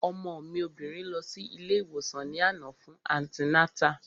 Ọmọ mi obìnrin lọ sí ilé ìwòsàn ní àná fún antinátà